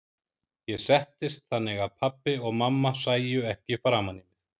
Ég settist þannig að pabbi og mamma sæju ekki framan í mig.